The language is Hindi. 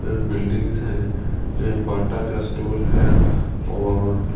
बिल्डिंग्स हैं बाटा का स्टोर है और--